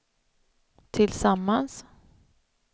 tillsammans